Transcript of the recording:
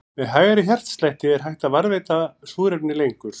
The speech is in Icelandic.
Með hægari hjartslætti er hægt að varðveita súrefni lengur.